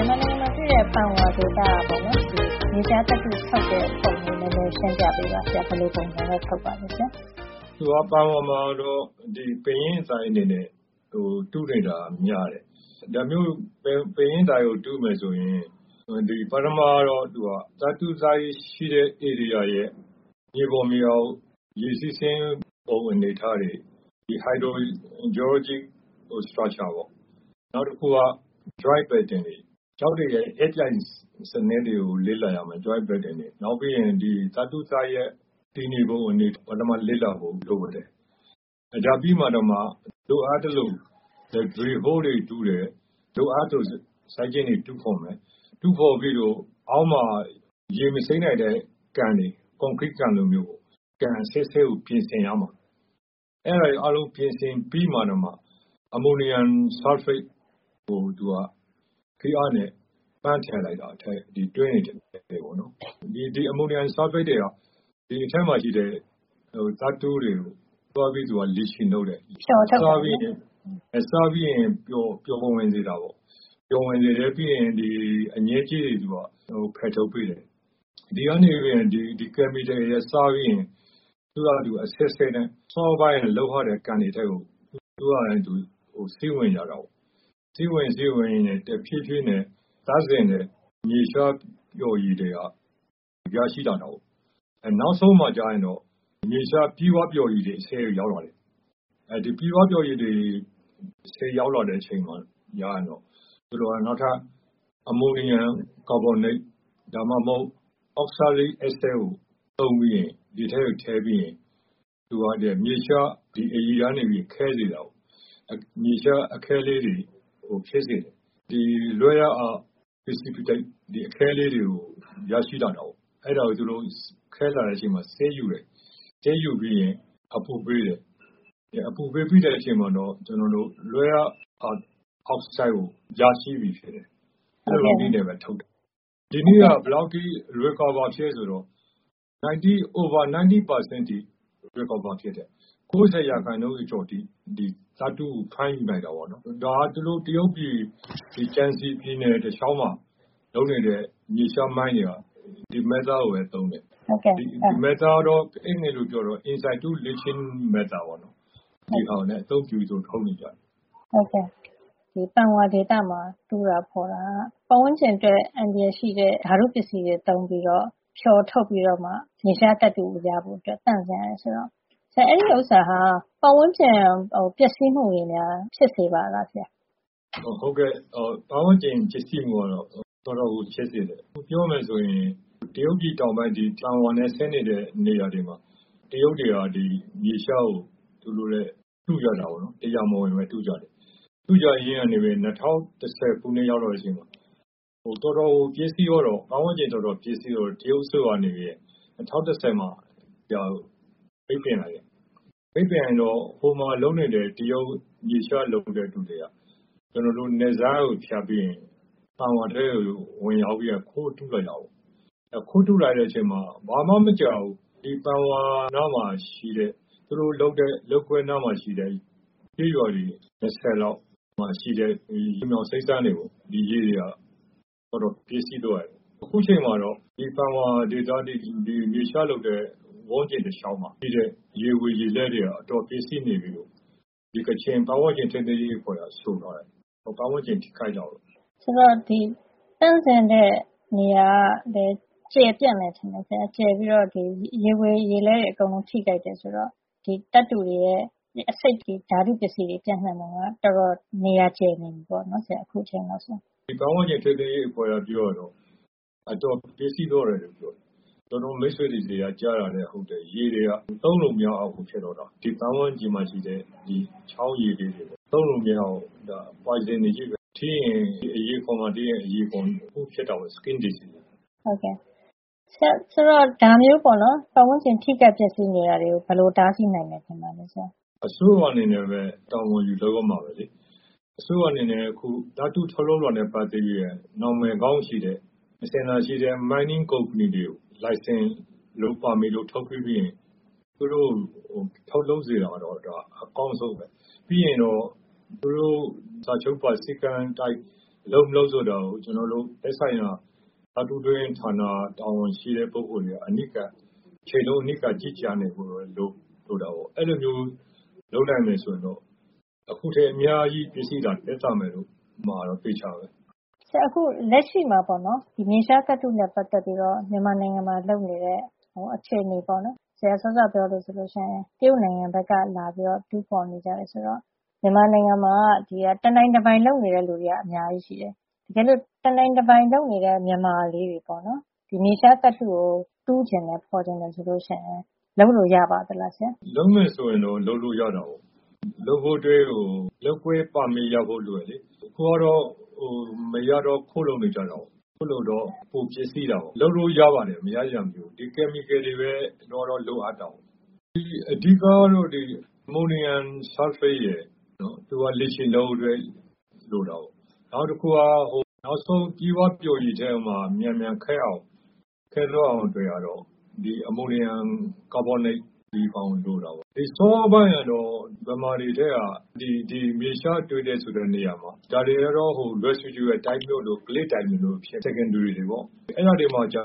န်မာနိုင်ငံ ပန်ဝါဒေသက မြေရှားသတ္တုထုတ်လုပ်ပုံကို နဲနဲ ရှင်းပြပေးပါဆရာ။ ဘယ်လိုပုံစံနဲ့ ထုတ်ပါသလဲဆရာ။” “ပန်ဝါမှာကတော့ ပင်ရင်းသိုက်အနေနဲ့ တူးနေတာက များတယ်။ ဒါမျိုး ပင်ရင်းသိုက်ကို တူးမယ်ဆိုရင်၊. ပထမတော့ သူက သတ္တုသိုက်ရှိတဲ့နေရာရဲ့ မြေပေါ်မြေအောက် ရေစီးဆင်းပုံ အနေအထားတွေ၊ ဒီ hydro geologic structure ပေါ့။ နောက်တခုက joint pattern တွေ၊ ကျောက်တွေရဲ့ အက်ပြိုင်စံနစ်တွေကို လေ့လာရမယ်။ နောက်ပြီးရင် ဒီသတ္တုသိုက်ရဲ့ တည်နေပုံ အနေအထားတွေကို ပထမ လေ့လာဖို့ လိုတယ်။ ဒါပြီးမှ လိုအပ်သလို drill hole တွေ တူးမယ်။ လိုအပ်သလို စိုက်ကျင်းတွေ တူးဖေါ်မယ်။ တူးဖေါ်ပြီးလို့ရှိရင် အောက်မှာ ရေမစိမ့်နိုင်တဲ့ ကန်တွေ၊ ကွန်ကရိကန်လိုမျိုးပေါ့။ ကန်အဆင့်ဆင့်ကို ပြင်ဆင်ရမှာ။ အဲဒါတွေ အားလုံးကို ပြင်ဆင် ပြီးတော့ကျမှ အမိုနီယမ် ဆာလ်ဖိတ်ကို သူက ဖိအားနဲ့ပန်းထည့်လိုက်တာ၊ ဒီတွင်းတွေ ထဲကို ပေါ့နော်။ ဒီအမိုနီယမ်ဆာလ်ဖိတ်တွေက ဒီအထဲမှာရှိတဲ့ သတ္တုတွေကို သွားပြီးတော့ leaching လုပ်တယ်။” “ဖျော်ထုတ်တာ ပေါ့နော်။” “ဟုတ်တယ်။ စားပြီး ပျော်ဝင်စေတာပေါ့။ ပျော်ဝင်စေပြီးရင် သူက အညစ်အကြေးတွေကို ဖယ်ထုတ်ပေးတယ်။ ဒီ ကယ်မီကယ်တွေက စားပြီးရင် သူက အဆင့်ဆင့်နဲ့ စောစောက လုပ်ထားတဲ့ ကန်တွေထဲကို သူ့ဟာနဲ့သူ စီးဝင်ကြတာပေါ့။ သူက စီးဝင်ရင်း စီးဝင်ရင်းနဲ့ တဖြေးဖြေးနဲ့သန့်စင်တဲ့ မြေရှားပျော်ရည်တွေ ရရှိလာတာပေါ့။ အဲနောက်ဆုံးမှာ သူက မြေရှားပြည့်ဝပျော်ရည်တွေ အဆင့်ကို ရောက်လာတာပေါ့။ အဲဒီလို ပြည့်ဝပျော်ရည် အဆင့်ကို ရောက်လာတဲ့ အခါ ကျရင်တော့ သူတို့က အမိုနီယမ် ကာဗွန်နိတ် ဒါမှမဟုတ် အောက်ဆာလိဒ် အက်ဆစ်ကို သုံးပြီးရင်၊ ဒီအထဲကို ထည့်ပြီးရင် သူက ဒီမြေရှား အရည်ကနေ ခဲစေတာပေါ့။ မြေရှား အခဲလေးတွေကို ဖြစ်စေတယ်။ ဒီ rare earth precipitate အခဲလေးတွေကို ရရှိလာတာပေါ့။ အဲဒါကို သူတို့က ခဲလာတဲ့အချိန်မှာ စစ်ယူတယ်။ စစ်ယူပြီးရင် အပူပေးတယ်။ အပူပေးပြီးတဲ့ အချိန်မှာတော့ ကျနော်တို့ rare earth အောက်ဆိုဒ်ကို ရရှိပြီဖြစ်တယ်။ အဲလိုနည်းနဲ့ပဲ ထုတ်တယ်။” ဒီနည်းက ဘယ်လောက်အထိ recover ဖြစ်သလဲ ဆိုတော့ over 90 % အထိ ဖြစ်တယ်။ ၉ ၀ ရာခိုင်နှုန်း ကျော်ကျော်အထိ ဒီ မြေရှား သတ္တုကို ဖမ်းယူနိုင်တာပေါ့နော်။ ဒါက တရုတ်ပြည် ကျန်စီပြည်နယ် တလေ ျှာက်မှာ လုပ်နေတဲ့ မြေရှားမိုင်းတွေက ဒီ method နည်းကိုပဲ သုံးတယ်။ ဒီနည်းကတော့ Insitu leaching method ပေါ့နော်။ ဒီဟာနဲ့ အသုံးပြုပြီးတော့ ထုတ်နေကြတယ်။” “ဟုတ်ကဲ့။ ဒီပန်ဝါဒေသမှာတူးတာဖေါ်တာက ပတ်ဝန်းကျင်အတွက် အန္တရာယ်ရှိတဲ့ ဓါတု ပစ္စည်းတွေ သုံးပြီး ဖျော်ထုတ်ပြီးတော့မှ မြေရှားသတ္တုကို ရဖို့သန့်စင်ရတယ် ဆိုတော့ ဒါဟာ ပတ်ဝန်းကျင် အတွက် ပျက်စီးမှုတွေ ဖြစ်စေပါလားဆရာ။” “ဟုတ်ကဲ့။ ပတ်ဝန်းကျင်ပျက်စီးမှုကတော့ တော်တော်ကို ဖြစ်စေတယ်။ ပြောမယ် ဆိုရင် တရုတ်ပြည် တောင်ပိုင်း ဒီ ပန်ဝါနဲ့ ဆက်နေတဲ့ နေရာတွေမှာ တရုတ်တွေက ဒီ မြေရှားကို တူးကြတာပေါ့နော်။ တရားမဝင်ပဲ တူးကြတယ်။ တူးကြရင်းကနေပဲ ၂၀၁၀ ခုနှစ်ရောက်တဲ့ အချိန်မှာ တော်တော်ကို ပျက်စီးသွားတော့၊ ပတ်ဝန်းကျင်တော်တော် ပျက်စီးသွားတော့ တရုတ်အစိုးရက နေပြီးတော့ ၂၀၁၀ မှာ ပိတ်ပင်လိုက်တယ်။ ပိတ်ပင်လိုက်တော့ ဟိုမှာ လုပ်နေတဲ့ တရုတ် မြေရှား လုပ်ဖူးတဲ့သူတွေက ကျနော်တို့ နယ်စပ်ကို ဖြတ်ပြီးရင် ဒီပန်ဝါထဲကို ဝင်ရောက်ပြီးရင် ခိုးတူးလာကြတာပေါ့။ အဲလို ခိုးတူးလာတဲ့ အချိန်မှာ ဘာမှ မကြာဘူး။ ဒီပန်ဝါနားမှာ ရှိတဲ့ သူတို့လုပ်ကွက်နားမှာရှိတဲ့ ကျေးရွာတွေ ၂၀ လောက် မှာ ရှိတဲ့ လ ျှိုမြောင်စိမ့်စမ်းတွေပေါ့။ ဒီရေတွေဟာ တော်တော် ပျက်စီးသွားတယ်။ အခုအချိန်မှာတော့ ဒီပန်ဝါဒေသ ဒီမြေရှားလုပ်တဲ့ ဝန်းကျင်တလေ ျှာက်မှာ ရှိတဲ့ ရေဝေရေလဲ တွေက အတော်ပျက်စီးနေပြီလို့ ကချင်ပတ်ဝန်းကျင်ထိန်းသိမ်းရေး အဖွဲ့က ဆိုထားတယ်။ ပတ်ဝန်းကျင်ထိခိုက်တာပေါ့။” “ဒီသန့်စင်တဲ့ နေရာကလည်း ကျယ်ပြန့်တယ် ထင်တယ်ဆရာ။ ဒီရေဝေရေလဲတွေ အကုန် ထိခိုက်တယ် ဆိုတော့။ သတ္တုတွေက ဒီအဆိပ် ဓါတုပစ္စည်းတွေ ပြန့်နှံ့တာက တော်တော် နေရာကျယ်ပြန့်နေပြီ ထင်တယ်ဆရာ။” “ဒီပတ်ဝန်းကျင်ထိန်းသိမ်းရေး အဖွဲ့က ပြောတာကတော့ အတော်ပျက်စီးသွားတယ်လို့ ပြောတယ်။ ကျနော့်မိတ်ဆွေတွေ ဆီက ကြားရတာကလည်း ဟုတ်တယ် ရေတွေက သုံးလို့ မရလောက်အောင်ကို ဖြစ်သွားတာ။ ဒီပတ်ဝန်းကျင်မှာ ရှိတဲ့ ချောင်းတွေက ရေတွေဟာ သုံးလို့ မရအောင် ဒီ poison အဆိပ်ချည်းပဲ။ ထိရင် ဒီအရေခွံ- အရေပြားမှာ ထိရင် အရေပြား တခုခု ဖြစ်တာပေါ့။ ဒီ skin disease အရေပြားရောဂါပဲ။” “ဆရာ ဒီလိုမျိုး ပတ်ဝန်းကျင် ထိခိုက် ပျက်စီးနေတာတွေကို ဘယ်လို တားဆီးနိုင်မယ် ထင်ပါသလဲ ဆရာ။” “အစိုးရ အနေနဲ့ပဲ တာဝန်ယူလုပ်ရမှာပဲလေ။ ဒီအစိုးရအနေနဲ့ အခုသတ္တုထုတ်လုပ်တာနဲ့ ပတ်သက်ပြီးရင် နံမယ်ကောင်းရှိတဲ့။ အစဉ်လာရှိတဲ့ mining သတ္တုတူးဖေါ်ရေး ကုမ္ပဏီတွေကို လိုင်စင်တို့ ပါမစ်တို့ ထုတ်ပေးပြီး သတ္တုထုတ်စေတာကတော့ အကောင်းဆုံးပဲ။ ပြီးရင်တော့ သူတို့ စာချုပ်ပါ စည်းကမ်း အတိုင်း လုပ်မလုပ် ဆိုတာကို ကျနော်တို့ သက်ဆိုင်ရာ သတ္တုတွင်းဌာန တာဝန်ရှိတဲ့ ပုဂ္ဂိုလ်တွေက အနီးကပ်၊ တချိန်လုံး အနီးကပ် ကြီးကြပ်ဖို့ လိုတာပေါ့။ အဲဒီလိုမျိုး လုပ်နိုင်မယ် ဆိုရင်တော့ အခုထက် အ များကြီး ပျက်စီးတာ သက်သာမှာတော့ အသေအချာပဲ။” “ဆရာ အခု လက်ရှိမှာ မြေရှားသတ္တုနဲ့ပတ်သက်ပြီးတော့ မြန်မာနိုင်ငံမှာ လုပ်နေတဲ့ အခြေနေပေါ့နော်။ ဆရာ စောစောက ပြောသလိုဆို တရုတ်နိုင်ငံကပဲ လာပြီး တူးဖေါ်နေကြတယ် ဆိုတော့။ တကယ်ဆို မြန်မာနိုင်ငံမှာက တနိုင်တပိုင် လုပ်နေတဲ့ သူတွေက အများကြီးရှိတယ်။ တကယ်လို့ တနိုင်တပိုင် လုပ်နေတဲ့ မြန်မာတွေ ဒီမြေရှား သတ္တုကို တူးချင် ဖေါ်ချင်တယ် ဆိုရင် လုပ်လို့ ရပါလား ဆရာ။” “လုပ်မယ်ဆိုရင်တော့ လုပ်လို့ ရတာပေါ့။ လုပ်ဖို့အတွက် လုပ်ကွက် ပါမစ် ရဖို့ လိုတယ်လေ။ အခုကတော့ မရတော့ ခိုးလုပ်နေကြတာကိုး၊ ခိုးလုပ်တော့ ပိုပျက်စီးတာပေါ့။ လုပ်လို့ ရပါတယ်။ မရစရာ မရှိဘူး။ ဒီ ဓါတုပစ္စည်းတွေပဲ အမှန်ကတော့ လိုအပ်တာပေါ့။ အဓိက ကတော့ ဒီ အမိုနီယမ်ဆာလ်ဖိတ်ရယ်။. သူက leaching လုပ်ဖို့အတွက် လိုတယ်။ နောက်တခုက နောက်ဆုံး ပြည့်ဝပျော်ရည်ထဲမှာ မြန်မြန် ခဲသွားအောင် အတွက်ကတော့ ဒီ အမိုနီယမ် ကာဗွန်နိတ် လိုတာပေါ့။ စောစောပိုင်းကတော့ ဒီမြန်မာတွေထဲက ဒီမြေရှားတွေ့တယ် ဆိုတဲ့နေရာမှာ ဒါတွေကတော့ residual မျိုးတို့ clay သိုက်မျိုးတို့ ။ secondary တွေပေါ့။ အဲဒါတွေမှာ က